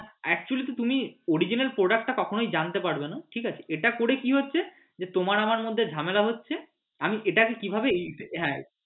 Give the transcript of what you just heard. actually কি তুমি original product টা কখনই জানতে পারবে না ঠিক আছে এটা করে কি হচ্ছে যে তোমার আমার মধ্যে ঝামেলা হচ্ছে আমি এটাকে কিভাবে